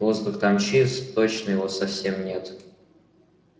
воздух там чист точно его совсем нет